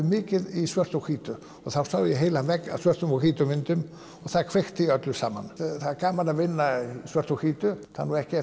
mikið í svörtu og hvítu þá sá ég heilan vegg af svörtum og hvítum myndum og það kveikti í öllu saman það er gaman að vinna í svörtu og hvítu það er nú ekki